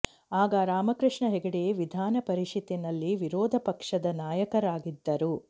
ಆಗ ರಾಮಕೃಷ್ಣ ಹೆಗಡೆ ವಿಧಾನ ಪರಿಷತ್ತಿನಲ್ಲಿ ವಿರೋಧ ಪಕ್ಷದ ನಾಯಕರಾಗಿದ್ದರು